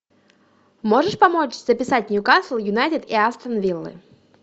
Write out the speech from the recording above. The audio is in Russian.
можешь помочь записать ньюкасл юнайтед и астон виллы